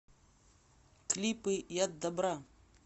клипы яд добра